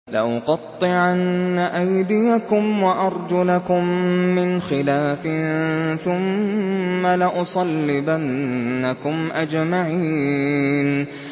لَأُقَطِّعَنَّ أَيْدِيَكُمْ وَأَرْجُلَكُم مِّنْ خِلَافٍ ثُمَّ لَأُصَلِّبَنَّكُمْ أَجْمَعِينَ